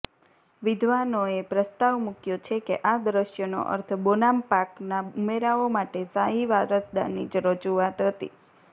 વિદ્વાનોએ પ્રસ્તાવ મૂક્યો છે કે આ દ્રશ્યનો અર્થ બોનામ્પાકના ઉમરાવો માટે શાહી વારસદારની રજૂઆત હતી